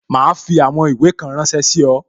Ma fi àwọn ìwé kan ránsẹ́ sí ọ